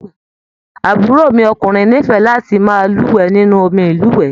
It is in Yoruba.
Àbúrò mi ọkùnrin n'ifẹ láti máa luwẹ̀ nínú omí ilúwẹ.